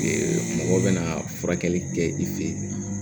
mɔgɔ bɛ na furakɛli kɛ i fɛ yen